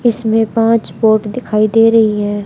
इसमें पांच पोर्ट दिखाई दे रही है।